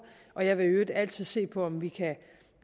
og jeg vil i øvrigt altid se på om vi kan